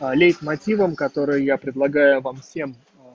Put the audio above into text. лейтмотивом которые я предлагаю вам всем